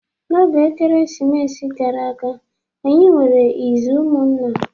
N'oge Ekeresimesi gara aga, anyi nwere izu ụmụnna.